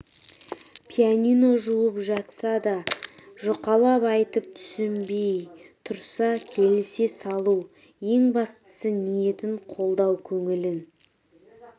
пианино жуып жатса да жұқалап айтып түсінбей тұрса келісе салу ең бастысы ниетін қолдау көңілін